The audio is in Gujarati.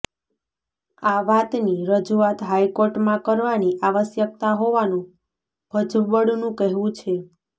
આ વાતની રજૂઆત હાઇકોર્ટમાં કરવાની આવશ્યકતા હોવાનું ભજબળનું કહેવું છે